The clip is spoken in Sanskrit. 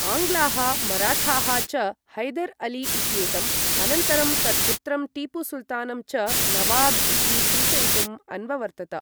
आङ्ग्लाः मराठाः च हैदर् अली इत्येतं, अनन्तरं तत्पुत्रं टीपु सुल्तानं च नवाब इति सूचयितुं अन्ववर्तत।